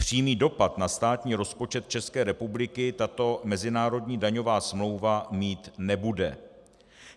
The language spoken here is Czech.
Přímý dopad na státní rozpočet České republiky tato mezinárodní daňová smlouva mít nebude.